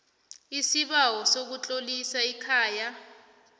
isibawo sokutlolisa ikhaya